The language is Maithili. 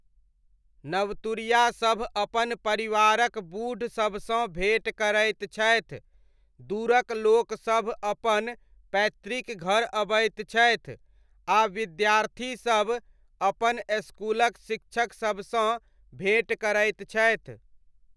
नवतुरियासभ अपन परिवारक बूढ़सबसँ भेँट करैत छथि, दूरक लोकसब अपन पैतृक घर अबैत छथि, आ विद्यार्थीसब अपन स्कूलक शिक्षकसबसँ भेँट करैत छथि।